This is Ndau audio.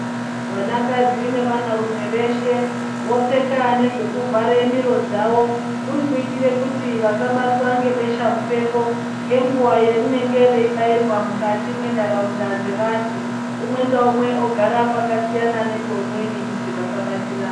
Vanakadzi nevanarume veshe vopfeka nezvekuvhare miro dzavo. Kuri kuitire kuti vasabatwa ngebesha mupengo ngenguva yerinenge reibairwa mukati mwentaraunda dzevantu. Umwe ngaumwe ogara pakasiyana nepeumweni kuti vasabatira.